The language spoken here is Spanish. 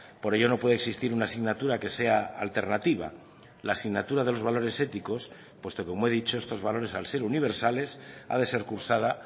por ello no puede existir una asignatura que sea alternativa la asignatura de los valores éticos puesto como he dicho estos valores al ser universales ha de ser cursada